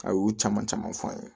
A y'u caman caman fɔ an ye